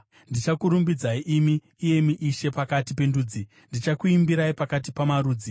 Ndichakurumbidzai imi, iyemi Ishe, pakati pendudzi; ndichakuimbirai pakati pamarudzi.